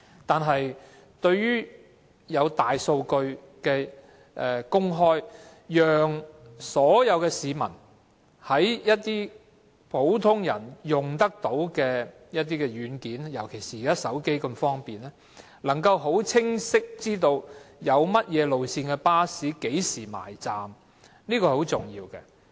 但是，對於公開大數據，讓所有市民能夠利用普遍使用的軟件——尤其是現時使用手提電話那麼方便——清晰知道甚麼路線的巴士何時到站，這是很重要的。